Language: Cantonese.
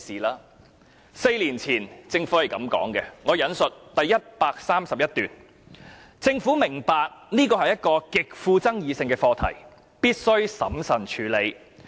政府在4年前是這樣說的，我引述第131段："政府明白這是一個極富爭議性的課題，必須審慎處理。